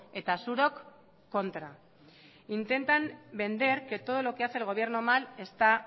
eta zuok kontra intentan vender que todo lo que hace